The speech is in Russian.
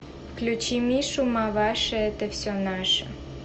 включи мишу маваши это все наше